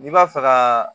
N'i b'a fɛ ka